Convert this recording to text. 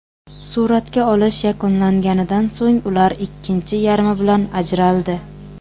Suratga olish yakunlanganidan so‘ng ular ikkinchi yarmi bilan ajraldi.